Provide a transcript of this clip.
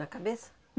Na cabeça?